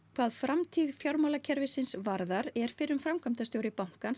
hvað framtíð fjármálakerfisins varðar er fyrrum framkvæmdastjóri bankans